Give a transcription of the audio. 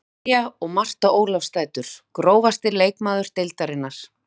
María og Marta Ólafsdætur Grófasti leikmaður deildarinnar?